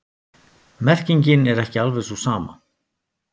Merkingin er ekki alveg sú sama.